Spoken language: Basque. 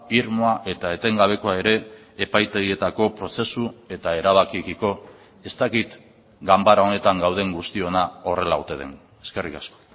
irmoa eta etengabekoa ere epaitegietako prozesu eta erabakiekiko ez dakit ganbara honetan gauden guztiona horrela ote den eskerrik asko